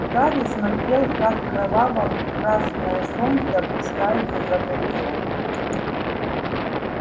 гарри смотрел как кроваво-красное солнце опускается за горизонт